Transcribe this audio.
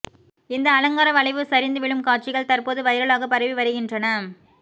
இந்த அலங்கார வளைவு சரிந்து விழும் காட்சிகள் தற்போது வைரலாக பரவி வருகின்றன